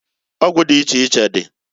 Ọgwụ di iche iche di.